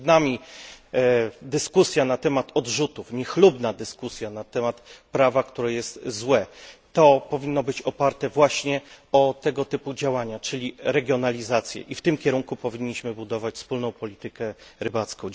Przed nami dyskusja na temat odrzutów, niechlubna dyskusja na temat prawa, które jest złe. Powinno to być oparte właśnie na tego typu działaniach, czyli na regionalizacji. I w tym kierunku powinniśmy budować wspólną politykę rybacką.